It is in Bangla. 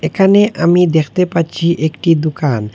এখানে আমি দেখতে পাচ্ছি একটি দুকান।